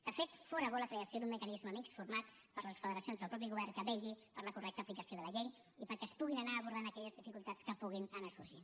de fet fóra bona la creació d’un mecanisme mixt format per les federacions i el mateix govern que vetlli per la correcta aplicació de la llei i perquè es puguin anar abordant aquelles dificultats que puguin anar sorgint